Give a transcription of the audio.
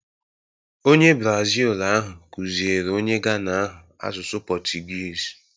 Onye Brazil ahụ kụziere onye Ghana ahụ asụsụ Portuguese